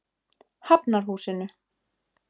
Hafnarhúsinu